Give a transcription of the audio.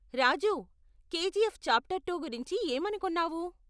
రాజూ, KGF chapter two గురించి ఏమనుకున్నావు?